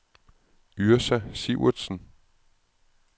Yrsa Sivertsen